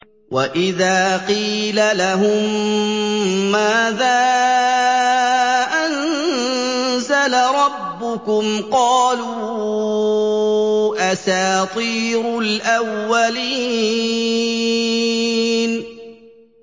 وَإِذَا قِيلَ لَهُم مَّاذَا أَنزَلَ رَبُّكُمْ ۙ قَالُوا أَسَاطِيرُ الْأَوَّلِينَ